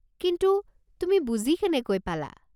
কিন্তু তুমি বুজি কেনেকৈ পালা?